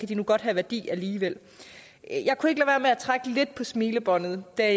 de nu godt have værdi alligevel jeg kunne ikke lade være med at trække lidt på smilebåndet da